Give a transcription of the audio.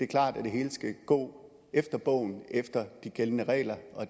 klart at det hele skal gå efter bogen efter de gældende regler